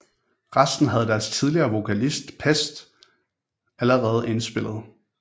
Resten havde deres tidligere vokalist Pest allerede indspillet